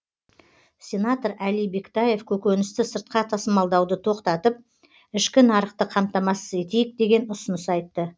сенатор әли бектаев көкөністі сыртқа тасымалдауды тоқтатып ішкі нарықты қамтамасыз етейік деген ұсыныс айтты